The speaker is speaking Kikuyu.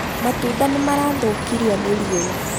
Matunda nĩmarathũkirio nĩ riũwa